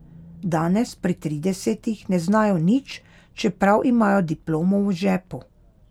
Danes pri tridesetih ne znajo nič, čeprav imajo diplomo v žepu.